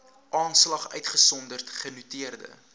aanslag uitgesonderd genoteerde